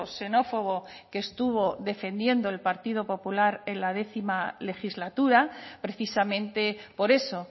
xenófobo que estuvo defendiendo el partido popular en la décima legislatura precisamente por eso